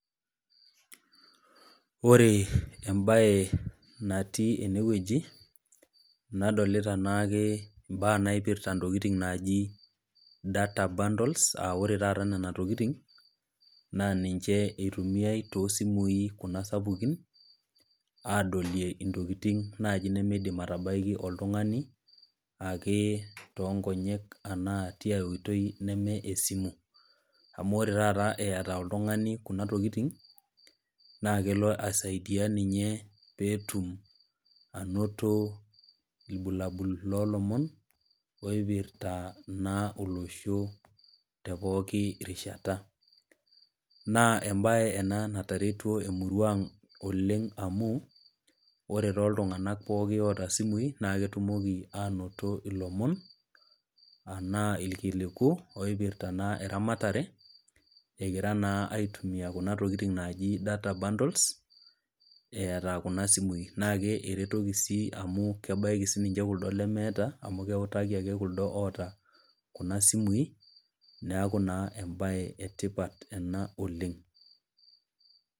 Ore ebae natii enewueji, nadolita nake imbaa naipirta intokiting naji data bundles, ah ore taata nena tokiting, naa ninche itumiai tosimui kuna sapukin, adolie intokiting nai nimidim atabaiki oltung'ani, ake tonkonyek anaa tiai oitoi neme esimu. Amu ore taata eeta oltung'ani kuna tokiting, na kelo aisaidia ninye petum anoto ilbulabul lolomon, oipirta naa olosho te pooki rishata. Na ebae ena nataretuo emurua ang oleng amu, ore toltung'anak pookin oota isimui, na ketumoki anoto ilomon, anaa irkiliku oipirta naa eramatare, egira naa aitumia kuna tokiting naji data bundles, eeta kuna simui. Na keretoki si amu kebaiki sininche kuldo lemeeta, amu keutaki ake kuldo oota kuna simui, neeku naa ebae etipat ena oleng.